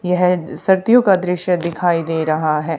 यह सर्दियों का दृश्य दिखाई दे रहा है।